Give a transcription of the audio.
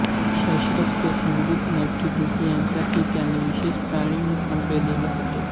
शास्त्रोक्त संगीत नृत्यनाट्ये ह्यांतही त्यांनी विशेष प्रावीण्य संपादिले होते